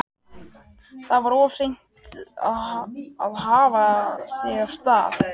Þá var of seint að hafa sig af stað.